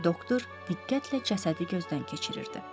Doktor diqqətlə cəsədi gözdən keçirirdi.